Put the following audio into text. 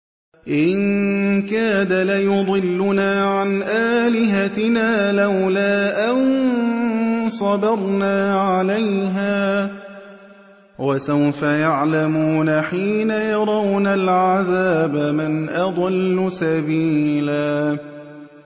إِن كَادَ لَيُضِلُّنَا عَنْ آلِهَتِنَا لَوْلَا أَن صَبَرْنَا عَلَيْهَا ۚ وَسَوْفَ يَعْلَمُونَ حِينَ يَرَوْنَ الْعَذَابَ مَنْ أَضَلُّ سَبِيلًا